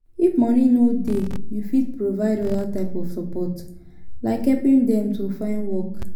if moni no dey you fit provide oda types of support like helping dem to find work